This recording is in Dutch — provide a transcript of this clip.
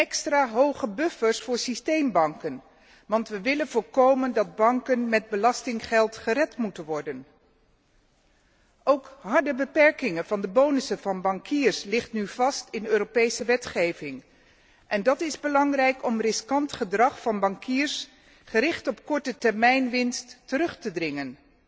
Extra hoge buffers voor systeembanken, want wij willen voorkomen dat banken met belastinggeld gered moeten worden. Ook harde beperkingen van de bonussen van bankiers liggen nu vast in Europese wetgeving en dat is belangrijk om riskant gedrag van bankiers, gericht op korte termijnwinst, terug te dringen.